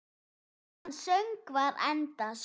Meðan söngvar endast